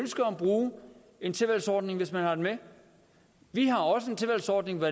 ønsker at bruge en tilvalgsordning hvis man har den med vi har også en tilvalgsordning og